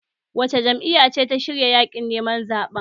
Wace jam'iyya ce ta shirya yaƙin neman zaɓen?